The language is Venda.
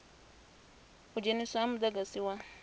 u dzheniswa ha mudagasi wa